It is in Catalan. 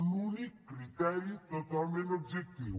l’únic criteri totalment objectiu